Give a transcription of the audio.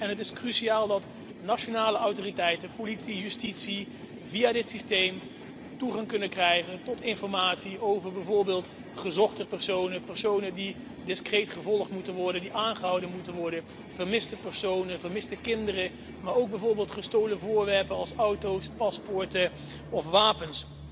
Het is cruciaal dat nationale autoriteiten, politie, justitie via dit systeem toegang kunnen krijgen tot informatie over bijvoorbeeld gezochte personen, personen die discreet gevolgd moeten worden, die aangehouden moeten worden, vermiste personen en vermiste kinderen, maar ook bijvoorbeeld gestolen voorwerpen als auto's, paspoorten of wapens.